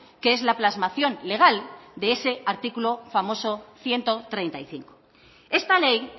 que es la plasmación legal de ese artículo famoso ciento treinta y cinco esta ley